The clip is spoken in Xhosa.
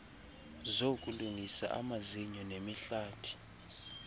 zokulungisa amazinyo nemihlathi